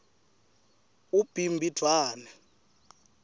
ubhimbidvwane